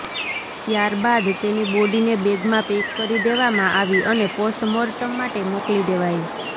ત્યારબાદ તેની બોડીને બેગમાં પેક કરી દેવામાં આવી અને પોસ્ટમોર્ટમ માટે મોકલી દેવાઈ